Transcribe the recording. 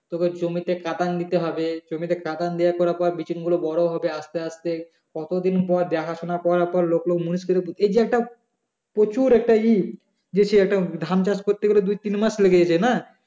তোকে জমিতে কাঁদান দিতে হবে জমিতে কাঁদান দেওয়ার পর বিচুনগুলো বড়ো হবে আস্তে আস্তে কতদিন পর দেখাশোনা করার পর লোক লোক মুনিশ এর ওপর এই একটা প্রচুর একটা উম যে সে একটা ধান চাষ করতে গেলে দুইতিন মাস লেগে যাচ্ছে না